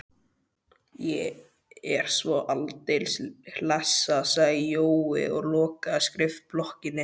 Ég er svo aldeilis hlessa, sagði Jói og lokaði skrifblokkinni.